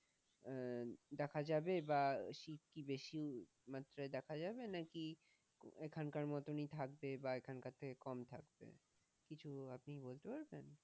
আহ দেখা যাবে বা শীত কি বেশি মাত্রায় দেখা যাবে? না কি এখান কার মতোনই থাকবে? বা এখানকার থেকে কম থাকবে, কিছু আপনি বলতে পারবেন?